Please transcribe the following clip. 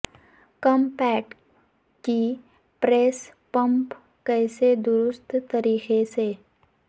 کم پیٹ کی press pump کیسے درست طریقے سے